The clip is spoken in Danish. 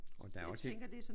Og der er også et